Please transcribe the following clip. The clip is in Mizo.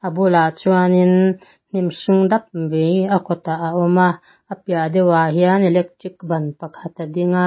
bulah chuan inn hnim hring dap mai a kawtah a awm a a piah deuhah hian electric ban pakhat a ding a.